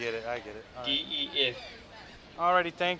d e f